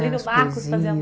Plínio Marcos fazia